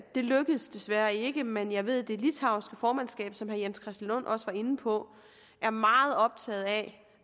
det lykkedes desværre ikke men jeg ved at det litauiske formandskab som herre jens christian lund også var inde på er meget optaget af